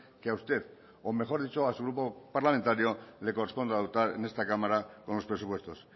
que a usted o mejor dicho a su grupo parlamentario le corresponde adoptar en esta cámara con los presupuestos